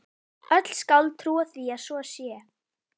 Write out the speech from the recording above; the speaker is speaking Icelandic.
Öll skáld trúa því að svo sé.